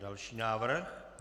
Další návrh.